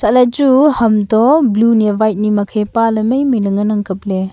haila chu hamto blue ni ya white ni makhe paale mai mai le ngan ang kapley.